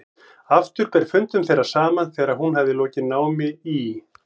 Aftur ber fundum þeirra saman þegar hún hafði lokið námi í